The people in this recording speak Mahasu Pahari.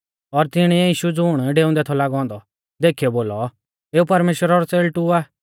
और तिणीऐ यीशु ज़ुण डेऊंदै थौ लागौ औन्दौ देखीयौ बोलौ देखौ एऊ परमेश्‍वरा रौ च़ेल़टु आ